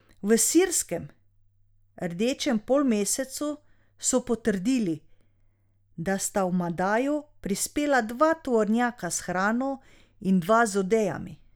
V sirskem Rdečem polmesecu so potrdili, da sta v Madajo prispela dva tovornjaka s hrano in dva z odejami.